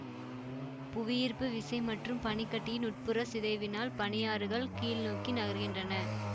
புவியீர்ப்பு விசை மற்றும் பனி கட்டியின் உட்புற சிதைவினால் பனியாறுகள் கீழ் நோக்கி நகர்கின்றன